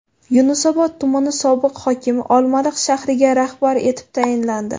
Yunusobod tumani sobiq hokimi Olmaliq shahriga rahbar etib tayinlandi.